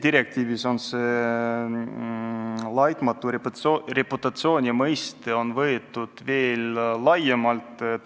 Direktiivis käsitatakse "laitmatu reputatsiooni" mõistet veel laiemalt.